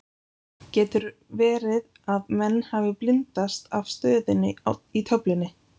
Getur verði að menn hafi blindast af stöðunni í töflunni?